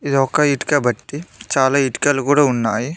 ఇది ఒక ఇటుక బట్టి చాలా ఇటుకలు కూడా ఉన్నాయి.